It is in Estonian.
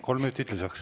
Kolm minutit lisaks.